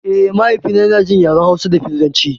Eh, mahaifi na yana jin yaren hausa da filatanci